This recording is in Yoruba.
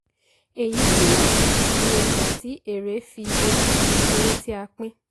èyí túmọ̀ sí iye ìgbà tí èèrè fi ojú ju owó tí a pín.